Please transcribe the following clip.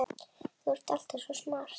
Þú ert alltaf svo smart.